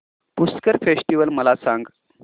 Pushkar festival मला सांग